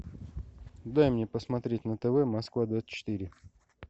дай мне посмотреть на тв москва двадцать четыре